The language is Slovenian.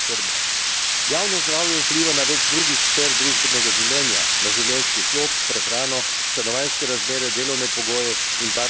Na življenjski slog, prehrano, stanovanjske razmere, delovne pogoje in varnost pri delu, farmacevtsko razsežnost zdravljenja in celo na davčno politiko.